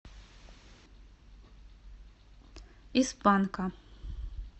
из панка